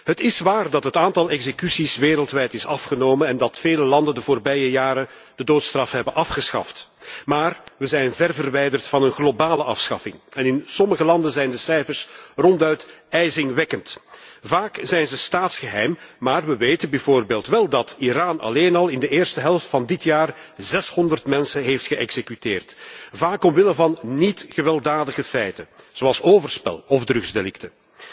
Het is waar dat het aantal executies wereldwijd is afgenomen en dat vele landen de voorbije jaren de doodstraf hebben afgeschaft, maar we zijn ver verwijderd van een globale afschaffing en in sommige landen zijn de cijfers ronduit ijzingwekkend. Vaak zijn ze staatsgeheim, maar we weten bijvoorbeeld wel dat Iran alleen al in de eerste helft van dit jaar 600 mensen heeft geëxecuteerd, vaak omwille van niet gewelddadige feiten zoals overspel of drugsdelicten.